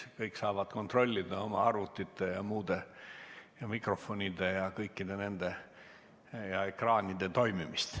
Kõik saavad kontrollida oma arvutite ja muu – mikrofonide ja ekraanide – toimimist.